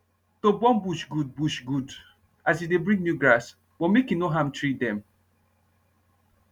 to burn bush good bush good as e dey bring new grass but make e nor harm tree dem